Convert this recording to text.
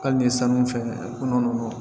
Hali ni san min fɛ malo